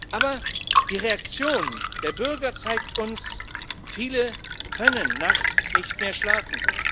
Aber die Reaktion der Bürger zeigt uns Viele können nachts nicht mehr schlafen.